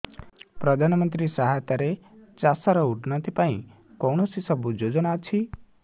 ପ୍ରଧାନମନ୍ତ୍ରୀ ସହାୟତା ରେ ଚାଷ ର ଉନ୍ନତି ପାଇଁ କେଉଁ ସବୁ ଯୋଜନା ଅଛି